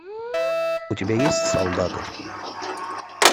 у тебя есть солдаты